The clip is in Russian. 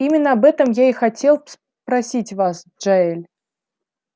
именно об этом я и хотел спросить вас джаэль